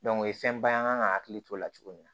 o ye fɛnba ye an ka hakili t'o la cogo min na